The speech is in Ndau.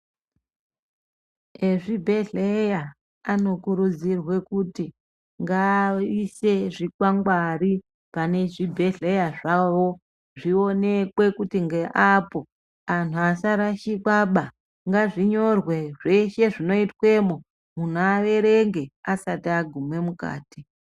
Ezvibhedhleya anokurudzirwa kuti ngaaise zvikwangwari pane zvibhedhleya zvavo zvionekwe kuti ngeapo antu asarashikwaba, ngazvinyore zveshe zvinoitwemwo muntu aerenge asati aguma mukati.